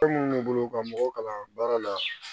minnu bolo ka mɔgɔw kalan baara la